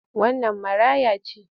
Wannan maraya ce?